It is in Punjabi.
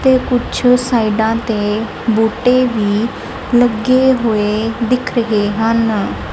ਤੇ ਕੁੱਛ ਸਾਈਡਾਂ ਤੇ ਬੂਟੇ ਵੀ ਲੱਗੇ ਹੋਏ ਦਿੱਖ ਰਹੇ ਹਨ।